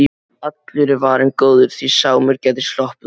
Allur er varinn góður, því Sámur gæti sloppið út.